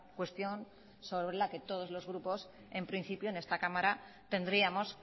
cuestión sobre la que todos los grupos en principio en esta cámara tendríamos